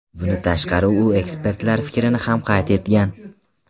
Bundan tashqari u ekspertlar fikrini ham qayd etgan.